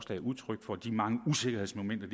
er udtryk for og de mange usikkerhedsmomenter